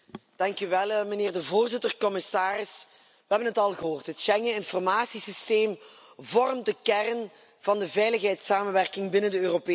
Meneer de Voorzitter, commissaris, we hebben het al gehoord, het Schengeninformatiesysteem vormt de kern van de veiligheidssamenwerking binnen de Europese Unie.